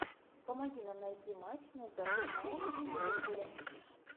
помоги нам найти матч между арсеналом и ливерпулем